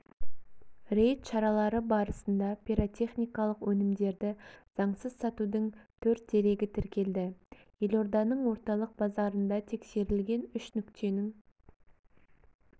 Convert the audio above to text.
рейд шаралары барысында пиротехникалық өнімдерді заңсыз сатудың төрт дерегі тіркелді елорданың орталық базарында тексерілген үш нүктенің